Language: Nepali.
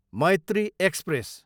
मैत्री एक्सप्रेस